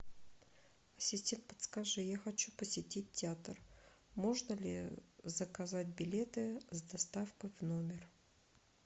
ассистент подскажи я хочу посетить театр можно ли заказать билеты с доставкой в номер